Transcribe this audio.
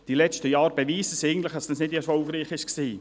Die letzten Jahre beweisen eigentlich, dass es nicht erfolgreich war.